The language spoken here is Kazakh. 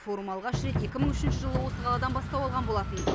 форум алғаш рет екі мың үшінші жылы осы қаладан бастау алған болатын